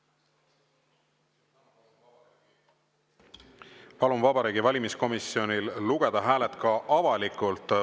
Palun Vabariigi Valimiskomisjonil lugeda hääled ka avalikult.